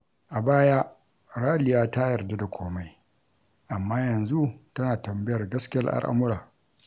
A baya, Raliya ta yarda da komai, amma yanzu tana tambayar gaskiyar al’amura.